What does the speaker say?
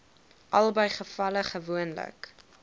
albei gevalle gewoonlik